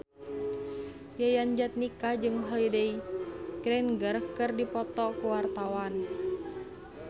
Yayan Jatnika jeung Holliday Grainger keur dipoto ku wartawan